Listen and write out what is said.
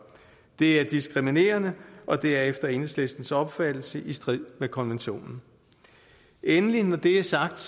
det er diskriminerende og det er efter enhedslistens opfattelse i strid med konventionen endelig når det er sagt